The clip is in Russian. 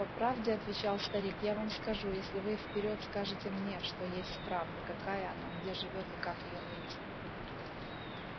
по правде отвечал старик я вам скажу если вы вперёд скажете мне что есть правда какая она где живёт и как её найти